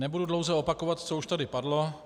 Nebudu dlouze opakovat, co už tady padlo.